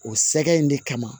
O sɛgɛ in de kama